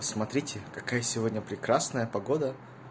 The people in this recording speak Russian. смотрите какая сегодня прекрасная погода